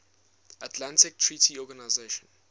atlantic treaty organisation